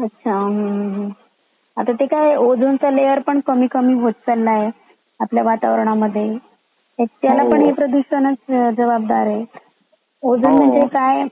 अच्छा अच्छा आता ते काय ओझोन चा लेअर पण कमी कमी होत चालला आहे आपल्या वातावरण मध्ये त्याला पण हे प्रदूषण चा जबाबदार आहे. ओझोन म्हणजे काय